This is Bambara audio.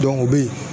o bɛ